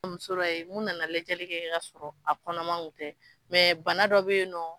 Muso la yen mun nana lajɛli kɛ k'a sɔrɔ a kɔnɔman kun tɛ mɛ banadɔ be yen nɔ